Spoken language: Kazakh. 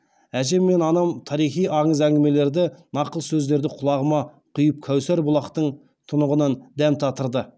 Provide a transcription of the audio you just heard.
әжем мен анам тарихи аңыз әңгімелерді нақыл сөздерді құлағыма құйып кәусар бұлақтың тұнығынан дәм татырды